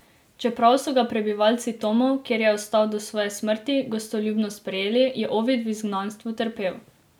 Čeprav so ga prebivalci Tomov, kjer je ostal do svoje smrti, gostoljubno sprejeli, je Ovid v izgnanstvu trpel.